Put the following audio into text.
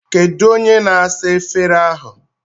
Kedu onye na-asa efere ahụ?